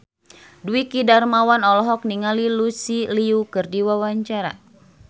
Dwiki Darmawan olohok ningali Lucy Liu keur diwawancara